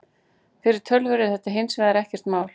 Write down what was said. Fyrir tölvur er þetta hins vegar ekkert mál.